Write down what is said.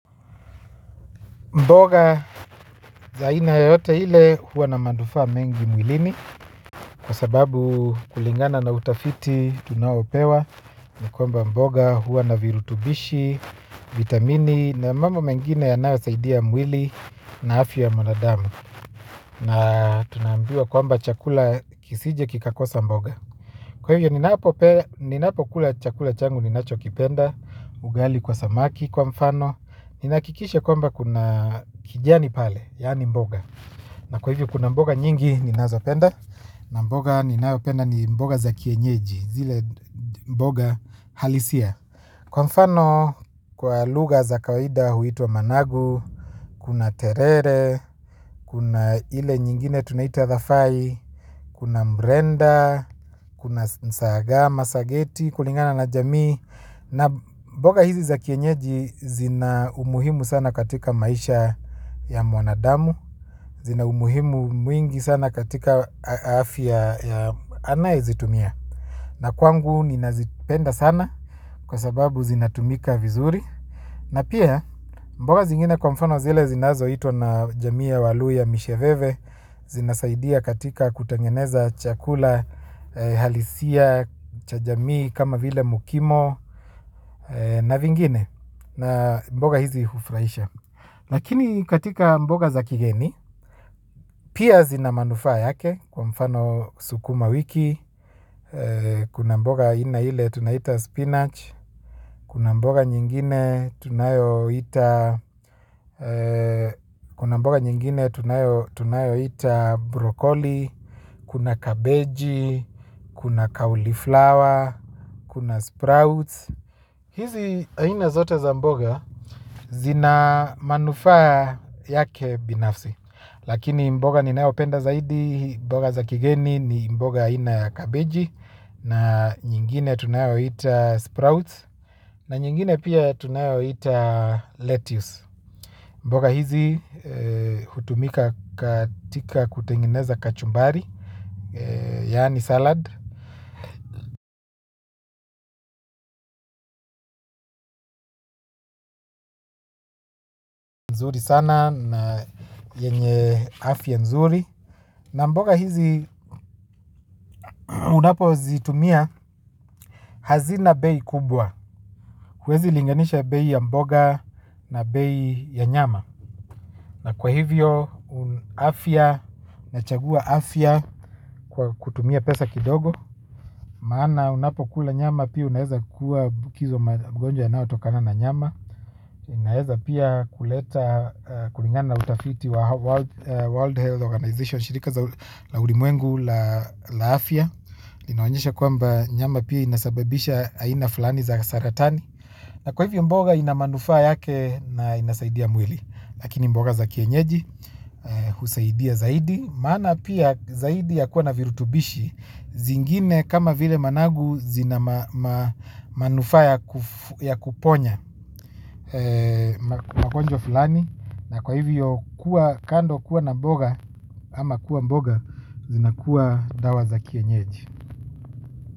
Mboga, za ina yoyote ile, hua na manufaa mengi mwilini, kwa sababu kulingana na utafiti tunaopewa, ni kwamba mboga, hua na virutubishi, vitamini, na mambo mengine yanayosaidia mwili, na afya ya mwanadamu, na tunambiwa kwamba chakula kisije kikakosa mboga. Kwa hivyo ninapo kula chakula changu ninacho kipenda, ugali kwa samaki, kwa mfano, ninahakikisha kwamba kuna kijani pale, yaani mboga. Na kwa hivyo kuna mboga nyingi ni nazo penda, na mboga ninayopenda ni mboga za kienyeji, zile mboga halisia. Kwa mfano kwa lugha za kawaida huitwa managu, kuna terere, kuna ile nyingine tunaita the fai, kuna mrenda, kuna sagama, sageti, kulingana na jamii, na mboga hizi za kienyeji zina umuhimu sana katika maisha ya mwanadamu, zina umuhimu mwingi sana katika afya ya anayezitumia. Na kwangu ninazipenda sana kwa sababu zinatumika vizuri na pia mboga zingine kwa mfano zile zinazoitwa na wa jamii wa walui wa misheveve zinasaidia katika kutengeneza chakula halisia cha jamioi kama vile mkimo na vingine na mboga hizi hufurahisha. Lakini katika mboga za kigeni, pia zina manufaa yake kwa mfano sukuma wiki, kuna mboga aina ile tunaita spinach, kuna mboga nyingine tunayoita broccoli, kuna cabbage, kuna cauliflower, kuna sprouts. Hizi aina zote za mboga zina manufa yake binafsi, lakini mboga nayopenda zaidi ni mboga za kigeni ni mboga aina ya cabege na nyingine tunayoiita sprout na nyingine pia tunayoita letice mboga hizi hutumika katika kutengeneza kachumbari. Yaani salad. Nzuri sana na yenye afya nzuri. Na mboga hizi unapozitumia hazina bei kubwa huwezi linganisha bei ya mboga na bei ya nyama. Na kwa hivyo afya, nachagua afya kutumia pesa kidogo. Maana unapo kula nyama pia unaweza kuambukizwa magonjwa yanayotokana na nyama. Unaweza pia kuleta, kulingana na utafiti wa World Health Organization Shirika za la ulimwengu la afya linaonyesha kwamba nyama pia inasababisha aina fulani za saratani na kwa hivyo mboga inamanufaa yake na inasaidia mwili lakini mboga za kienyeji kusaidia zaidi maana pia zaidi ya kuwa na virutubishi zingine kama vile managu zina manufa ya kuponya magonjwa fulani na kwa hivyo kuwa kando kuwa na mboga ama kuwa mboga zina kuwa dawa za kienyeji.